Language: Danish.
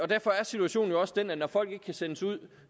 derfor er situationen jo også den at når folk ikke kan sendes ud